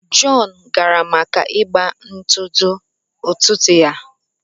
John gara maka ịgba ntụtụ ụtụtụ ya